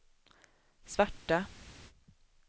svarta